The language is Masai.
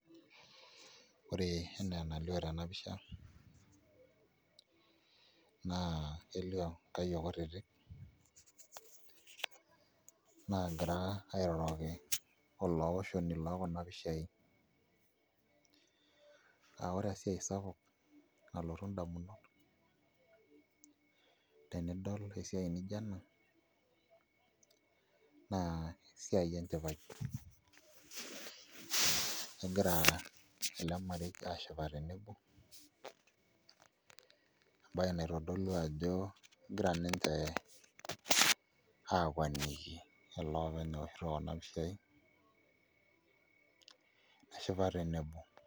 Ore enaa enalio tena pisha naa kelioo nkayiok kutitik naagira airoroki olaoshoni loo Kuna pishaai aa ore esiai sapuk nalotu indamunot tenadol esiai nijio ena naa esiai enchipai egira ele marei aashipa tenebo embaye naitodolu ajo kegira ninche aakwanikie ele openy ooshito Kuna pishaai, neshipa tenebo.